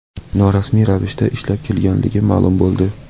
norasmiy ravishda ishlab kelganligi ma’lum bo‘ldi.